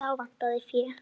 En þá vantaði fé.